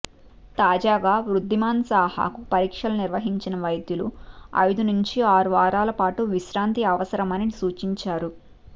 తాజాగా వృద్ధిమాన్ సాహాకు పరీక్షలు నిర్వహించిన వైద్యులు ఐదు నుంచి ఆరు వారాల పాటు విశ్రాంతి అవసరమని సూచించారు